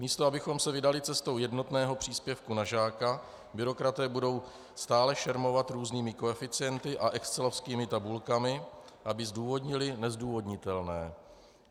Místo abychom se vydali cestou jednotného příspěvku na žáka, byrokraté budou stále šermovat různými koeficienty a excelovskými tabulkami, aby zdůvodnili nezdůvodnitelné.